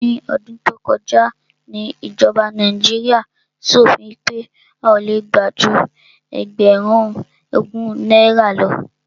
Ní ọdún tó kọjá ni ìjọba Nàíjíríà ṣòfin pé a ò le gbà ju ẹgbẹ̀rún ogún náírà lọ.